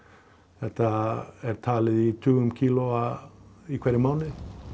þetta er talið í tugum kílóa í hverjum mánuði